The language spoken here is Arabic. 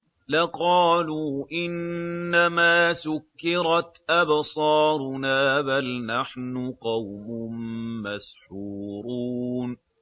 لَقَالُوا إِنَّمَا سُكِّرَتْ أَبْصَارُنَا بَلْ نَحْنُ قَوْمٌ مَّسْحُورُونَ